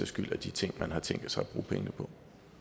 skyld de ting man har tænkt sig at bruge pengene på